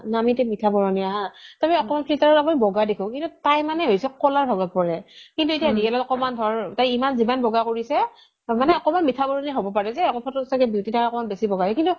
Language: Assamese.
আমি এতিয়া মিঠা বৰণীয়া হা তোহ আমি অকমান filter ত বগা দেখো কিন্তু তাই মানে হৈছে কলাৰ ভাগত পৰে কিন্তু এতিয়া real ত অকমান ধৰ তাই ইমান যিমান বগা কৰিছে তাৰ মানে অকমান মিঠা বৰণীয়া হব পাৰে যে photo ত যে beauty থাকেই অকমান বেচি বগা কিন্তু